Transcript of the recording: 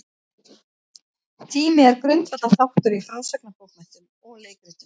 Tími er grundvallarþáttur í frásagnarbókmenntum og leikritum.